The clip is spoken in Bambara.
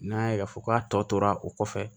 N'a y'a ye k'a fɔ k'a tɔ tora o kɔfɛ